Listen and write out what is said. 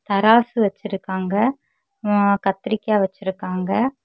தராசு வெச்சிருக்காங்க. ம் கத்திரிக்காய் வெச்சிருக்காங்க.